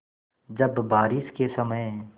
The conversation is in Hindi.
जब बारिश के समय